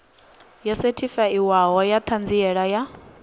yo sethifaiwaho ya ṱhanziela ya